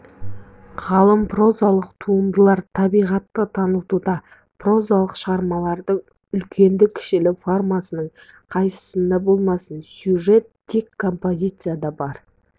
ғалым прозалық туындылар табиғатын танытуда прозалық шығармалардың үлкенді-кішілі формасының қайсысында болмасын сюжет те композицияда бар